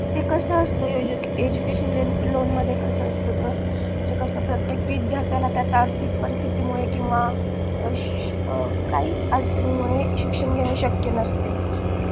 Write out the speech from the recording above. ते कास असत education loan मध्ये कस असत तर म्हणजे कस प्रत्येक विद्यार्थाला त्याचा आर्थिक परस्तिथीमुळे किंवा काही अडचणी मुळे शिक्षण घेने शक्य नसतं